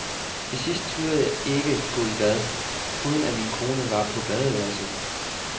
Til sidst turde jeg ikke gå i bad, uden at min kone var på badeværelset.